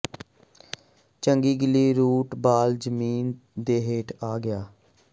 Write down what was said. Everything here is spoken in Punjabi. ਚੰਗੀ ਗਿੱਲੀ ਰੂਟ ਬਾਲ ਜ਼ਮੀਨ ਦੇ ਹੇਠ ਆ ਗਿਆ